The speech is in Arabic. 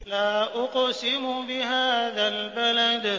لَا أُقْسِمُ بِهَٰذَا الْبَلَدِ